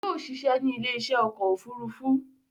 Yóò ṣiṣẹ́ ní ilé iṣẹ́ ọkọ̀ òfurufú